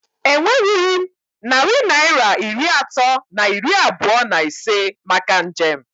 E nwerughị m narị Naịra iri atọ na iri abụọ na ise maka njem